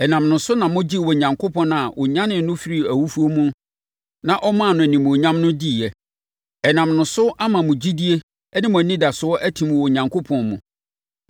Ɛnam ne so na mogyee Onyankopɔn a ɔnyanee no firii awufoɔ mu na ɔmaa no animuonyam no diiɛ. Ɛnam ne so ama mo gyidie ne mo anidasoɔ atim wɔ Onyankopɔn mu.